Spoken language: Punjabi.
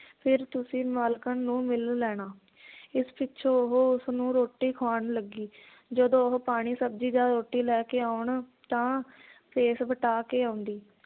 ਫਿਰ ਤੁਸੀਂ ਮਾਲਕਣ ਨੂੰ ਮਿਲ ਲੈਣਾ ਇਸ ਪਿੱਛੋਂ ਉਹ ਉਸਨੂੰ ਰੋਟੀ ਖਵਾਉਣ ਲੱਗੀ ਜਦੋਂ ਉਹ ਪਾਣੀ ਸਬਜ਼ੀ ਜਾਂ ਰੋਟੀ ਲੈਕੇ ਆਉਣ ਤਾਂ ਭੇਸ ਵਟਾ ਕੇ ਆਉਂਦੀ